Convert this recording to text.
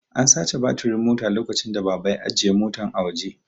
An sace batirin Mota lokacin da baba ya ajiye Motan a waje